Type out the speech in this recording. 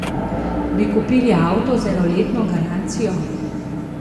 Bi kupili avto z enoletno garancijo?